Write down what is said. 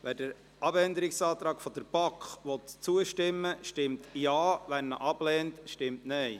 Wer dem Abänderungsantrag der BaK zustimmen will, stimmt Ja, wer diesen ablehnt, stimmt Nein.